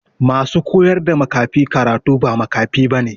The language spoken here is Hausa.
Ma su koyar da makafi karatu ba makafi ba ne.